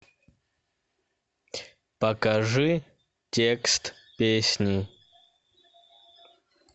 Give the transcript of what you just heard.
покажи текст песни